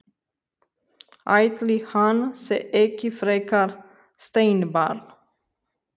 Ætli hann sé ekki frekar steinbarn.